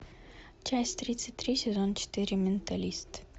часть тридцать три сезон четыре менталист